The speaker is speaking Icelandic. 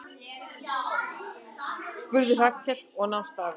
spurði Hallkell og nam staðar.